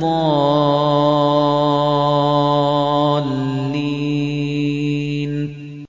ضَالِّينَ